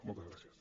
moltes gràcies